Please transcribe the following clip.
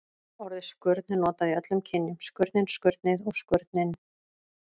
Orðið skurn er notað í öllum kynjum: skurnin, skurnið og skurninn.